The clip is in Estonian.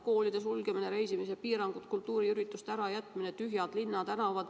Koolide sulgemine, reisimispiirangud, kultuuriürituste ärajätmine, tühjad linnatänavad.